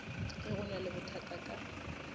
ge go na lebothata ka